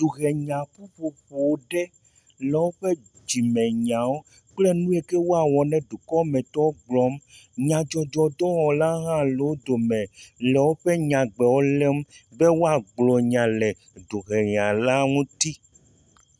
Duhenya ƒuƒoƒe ɖe le woƒe dzimenyawo kple nu yi ke woawɔ na dukɔmetɔwo gblɔm. nyadzɔdzɔdɔwɔla hã le wo dome le woƒe nyawo lém be woagblɔ nya le duhenyala ŋuti.